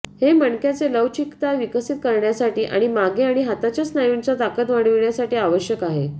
हे मणक्याचे लवचिकता विकसित करण्यासाठी आणि मागे आणि हातांच्या स्नायूंच्या ताकद वाढविण्यासाठी आवश्यक आहे